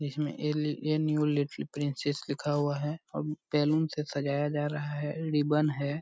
जिसमें प्रिंसेस लिखा हुआ है और बैलून से सजाया जा रहा है रिबन है।